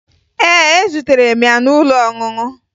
Ee, etutere m ya n'ụlọ ọṅụṅụ